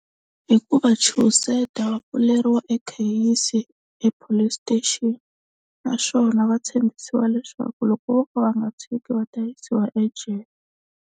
Hi ku va chuhiseta va pfuleriwa e kheyisi e-Police Station naswona va tshembisiwa leswaku loko vo ka va nga tshiki va ta yisiwa ejele.